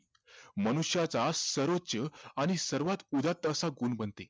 मनुष्याचा सर्वोच्च आणि सर्वात उदात्त असा गुण बनते